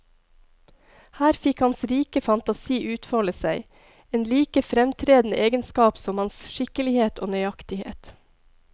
Her fikk hans rike fantasi utfolde seg, en like fremtredende egenskap som hans skikkelighet og nøyaktighet.